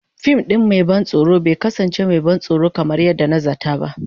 Fim ɗin mai ban tsoro bai kasance mai ban tsoro kamar yadda na zata ba.